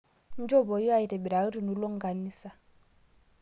Njopoi aitibiraki tunulo nkanisa